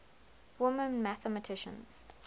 women mathematicians